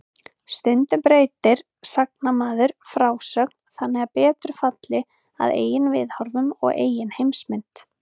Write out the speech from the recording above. Stundum breytir sagnamaður frásögn þannig að betur falli að eigin viðhorfum og eigin heimsmynd.